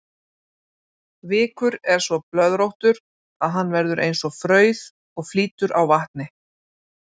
Vikur er svo blöðróttur að hann verður eins og frauð og flýtur á vatni.